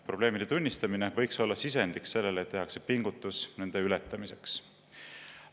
Probleemide tunnistamine võiks olla sisendiks sellele, et tehakse pingutus nende ületamiseks.